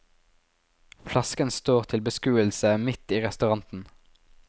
Flasken står til beskuelse midt i restauranten.